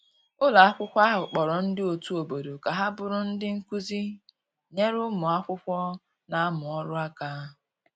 ụlọ akwụkwo ahụ kporo ndi otu obodo ka ha bụrụ ndi nkụzi nyere ụmụ akwụkwo n'amu ọrụ aka